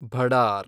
ಭಡಾರ್